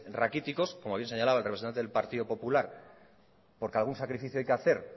raquíticos como bien señalaba el representante del partido popular porque algún sacrificio hay que hacer